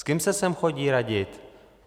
S kým se sem chodí radit?